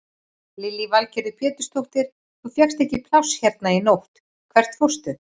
Lillý Valgerður Pétursdóttir: Þú fékkst ekki pláss hérna í nótt, hvert fórstu?